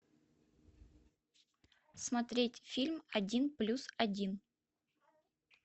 смотреть фильм один плюс один